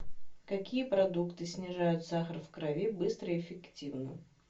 какие продукты снижают сахар в крови быстро и эффективно